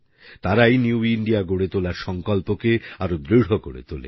তারাই new India গড়ে তোলার সংকল্পকে আরো দৃঢ় করে তোলে